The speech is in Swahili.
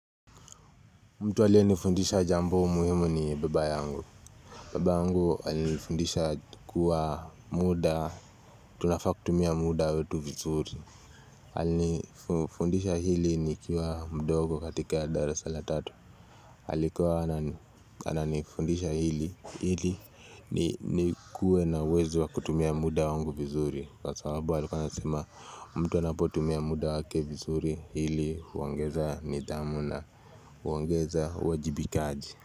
Mtu aliyenifundisha jambo muhimu ni baba yangu. Baba yangu alinifundisha kuwa muda, tunafaa kutumia muda wetu vizuri. Alinufundisha hili ni kiwa mdogo katika darasa la tatu. Alikuwa anani, ananifundisha hili ili ni kuwe na uwezo wa kutumia muda wangu vizuri kwa sababu alikuwa anasema mtu anapotumia muda wake vizuri hili huongeza nidhamu na huongeza uwajibikaji.